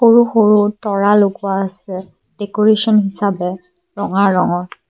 সৰু সৰু তৰা লগোৱা আছে ডেকুৰেচন হিচাপে ৰঙা ৰঙৰ।